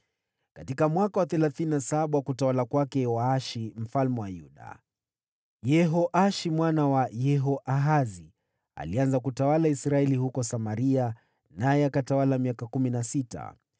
Katika mwaka wa thelathini na saba wa utawala wa Yoashi mfalme wa Yuda, Yehoashi mwana wa Yehoahazi alianza kutawala Israeli huko Samaria, naye akatawala miaka kumi na sita.